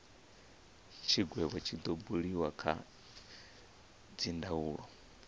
tshigwevho tshi do buliwa kha dzindaulo